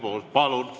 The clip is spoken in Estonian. Palun!